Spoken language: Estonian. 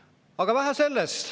Aga vähe sellest.